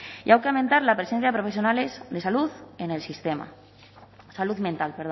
y hay que aumentar la presencia de profesionales de salud en el sistema salud mental